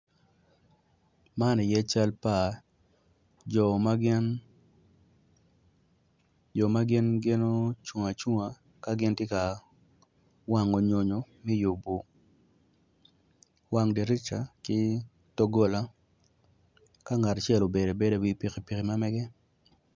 Man aye cal pa jo ma gin ocung acunga ka gin ti ka wango nyonyo mi yubu wang dirica ki doggola ka ngat acel obedo abeda i wi pikipiki ma mege